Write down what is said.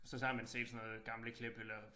Så så har man set sådan noget gamle klip eller